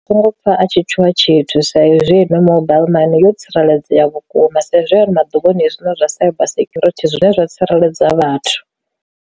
Ndi songo pfha a tshi tshuwa tshithu sa izwi no mobile money yo tsireledzea vhukuma sa izwi ya uri maḓuvhani zwine zwa cyber sekhurithi zwine zwa tsireledza vhathu.